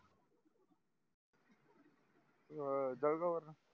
दर्गावर